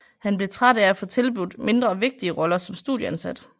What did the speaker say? Han blev træt af at få tilbudt mindre vigtige roller som studieansat